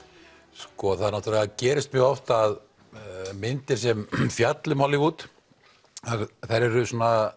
sko það náttúrulega gerist mjög oft að myndir sem fjalla um Hollywood eru